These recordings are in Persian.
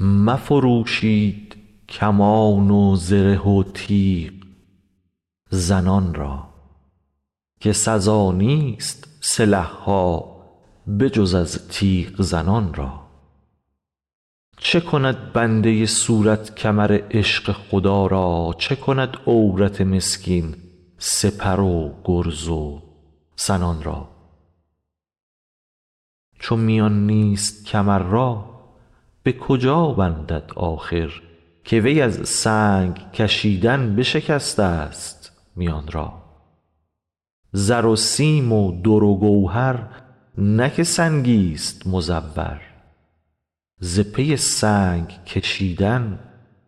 مفروشید کمان و زره و تیغ زنان را که سزا نیست سلح ها به جز از تیغ زنان را چه کند بنده صورت کمر عشق خدا را چه کند عورت مسکین سپر و گرز و سنان را چو میان نیست کمر را به کجا بندد آخر که وی از سنگ کشیدن بشکستست میان را زر و سیم و در و گوهر نه که سنگیست مزور ز پی سنگ کشیدن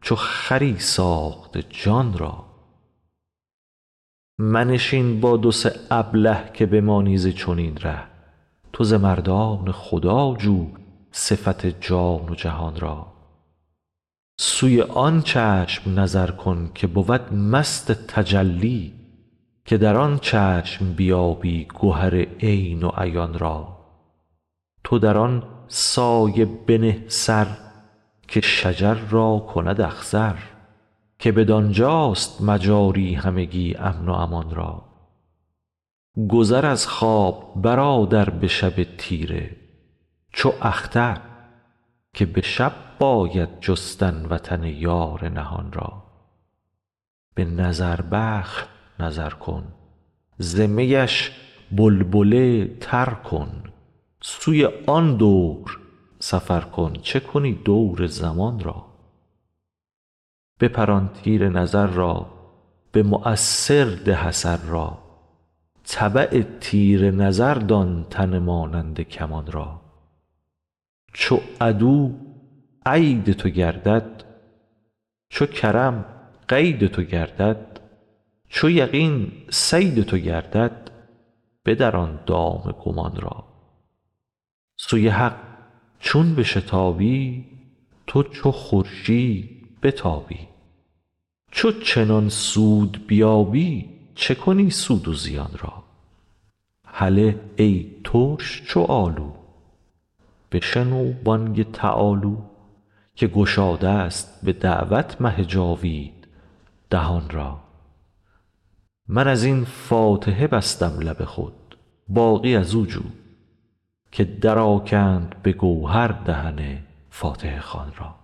چو خری ساخته جان را منشین با دو سه ابله که بمانی ز چنین ره تو ز مردان خدا جو صفت جان و جهان را سوی آن چشم نظر کن که بود مست تجلی که در آن چشم بیابی گهر عین و عیان را تو در آن سایه بنه سر که شجر را کند اخضر که بدان جاست مجاری همگی امن و امان را گذر از خواب برادر به شب تیره چو اختر که به شب باید جستن وطن یار نهان را به نظربخش نظر کن ز میش بلبله تر کن سوی آن دور سفر کن چه کنی دور زمان را بپران تیر نظر را به مؤثر ده اثر را تبع تیر نظر دان تن مانند کمان را چو عدواید تو گردد چو کرم قید تو گردد چو یقین صید تو گردد بدران دام گمان را سوی حق چون بشتابی تو چو خورشید بتابی چو چنان سود بیابی چه کنی سود و زیان را هله ای ترش چو آلو بشنو بانگ تعالوا که گشادست به دعوت مه جاوید دهان را من از این فاتحه بستم لب خود باقی از او جو که درآکند به گوهر دهن فاتحه خوان را